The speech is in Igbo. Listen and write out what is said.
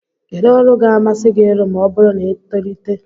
Kedụ ọrụ ga-amasị gị ịrụ ma ọ bụrụ na i tolite?